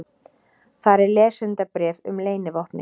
Þar er lesendabréf um leynivopnið.